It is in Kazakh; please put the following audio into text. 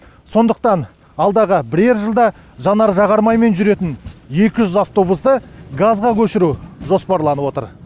сондықтан алдағы бірер жылда жанар жағармаймен жүретін екі жүз автобусты газға көшіру жоспарланып отыр